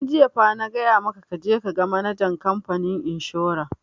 Tun jiya fa na gaya maka ka je ka ga manajan kamfanin inshora!